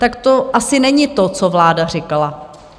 Tak to asi není to, co vláda říkala.